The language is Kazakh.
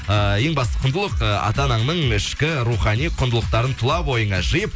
э ең басты құндылық э ата ананың ішкі рухани құндылықтарын тұла бойыңа жиіп